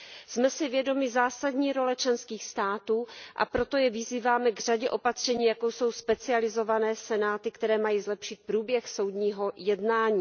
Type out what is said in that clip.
Jsme si vědomi zásadní role členských států, a proto je vyzýváme k řadě opatření, jako jsou specializované senáty, které mají zlepšit průběh soudního jednání.